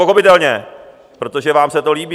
Pochopitelně, protože vám se to líbí.